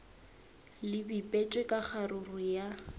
le bipetšwe ka kgaruru ya